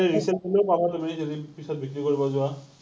resell value ও পাবা তুমি যদি পিছত বিক্ৰী কৰিব যোৱা।